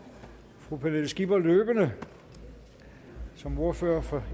fru pernille skipper løbende som ordfører for